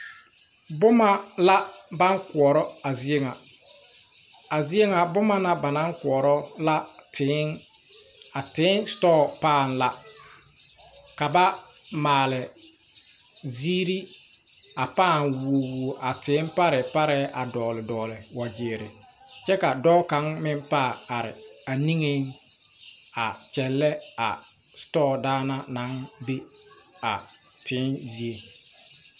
Bomma la baŋ koɔrɔ a zie ŋa a zievŋa bomma na ba naŋ koɔrɔ la tēē a tēē sitɔɔ paŋ la ka ba maale zeere a pãã wuo a tēē parɛɛ parɛɛ a dɔɔle dɔɔle gyiire kyɛ ka dɔɔ kaŋ meŋ pãã are a neŋeŋ a kyɛllɛ a sitɔɔ daŋna naŋ be a tēē die.